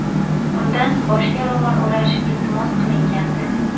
Undan boshga ro‘mol o‘rash iltimos qilingandi.